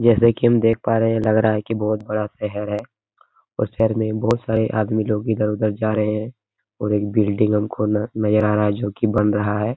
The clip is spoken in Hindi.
जैसे की हम देख पा रहे हैं लग रहा है की बहोत बड़ा शहर है और शहर में बहोत सारे आदमी लोग इधर-उधर जा रहे हैं और एक बिल्डिंग हमको न नजर आ रहा है जोकि बन रहा है।